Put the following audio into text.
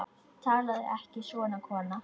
Talaðu ekki svona, kona!